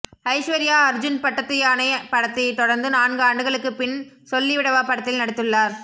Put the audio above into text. ஐஸ்வர்யா அர்ஜுன் பட்டத்து யானை படத்தை தொடர்ந்து நான்கு ஆண்டுகளுக்கு பின் சொல்லிவிடவா படத்தில் நடித்துள்ளார்